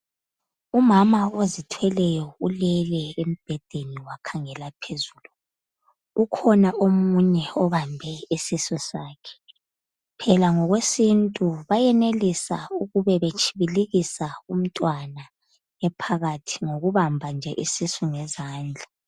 Umama ozithweleyo ulele embhedeni wakhangela phezulu. Ukhona omunye obambe isisu sakhe. Phela ngokwesiNtu bayenelisa ukube betshibilikisa umntwana ephakathi ngokubamba nje isisu ngezandla.